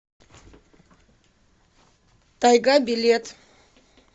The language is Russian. тайга билет